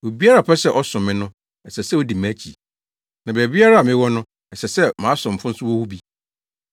Obiara a ɔpɛ sɛ ɔsom me no, ɛsɛ sɛ odi mʼakyi, na baabiara a mewɔ no, ɛsɛ sɛ mʼasomfo nso wɔ hɔ bi.”